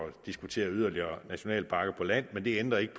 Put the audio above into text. diskutere yderligere nationalparker på land men det ændrer ikke